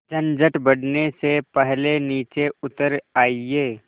झंझट बढ़ने से पहले नीचे उतर आइए